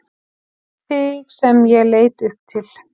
Þig sem ég leit upp til.